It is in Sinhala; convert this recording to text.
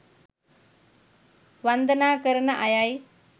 වන්දනා කරන අයයි.